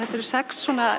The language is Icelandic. sex